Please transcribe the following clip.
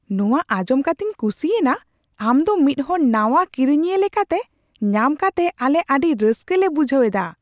ᱱᱚᱶᱟ ᱟᱸᱡᱚᱢ ᱠᱟᱛᱮᱧ ᱠᱩᱥᱤᱭᱮᱱᱟ ! ᱟᱢ ᱫᱚ ᱢᱤᱫ ᱦᱚᱲ ᱱᱟᱣᱟ ᱠᱤᱨᱤᱧᱤᱭᱟᱹ ᱞᱮᱠᱟᱛᱮ ᱧᱟᱢ ᱠᱟᱛᱮ ᱟᱞᱮ ᱟᱹᱰᱤ ᱨᱟᱥᱠᱟᱹ ᱞᱮ ᱵᱩᱡᱷᱟᱹᱣ ᱮᱫᱟ ᱾